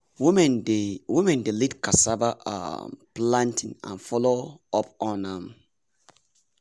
women dey women dey lead cassava um planting and follow up on am.